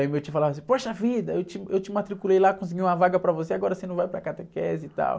Aí meu tio falava assim, poxa vida, eu te, eu te matriculei lá, consegui uma vaga para você, agora você não vai para a catequese e tal.